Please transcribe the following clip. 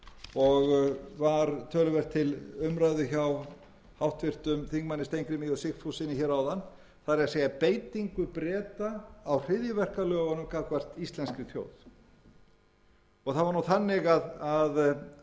og var töluvert til umræðu hjá háttvirtum þingmönnum steingrími j sigfússyni hér áðan það er beitingu breta á hryðjuverkalögunum gagnvart íslenskri þjóð það var nú þannig að bretar voru